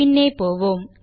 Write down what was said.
பின்னே போவோம்